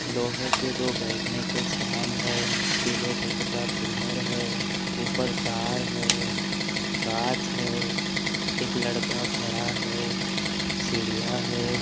लोहे के दो बैठने के स्टैंड है पीले कलर का पिल्लर है ऊपर तार है कांच है एक लड़का खड़ा है सिडिया है।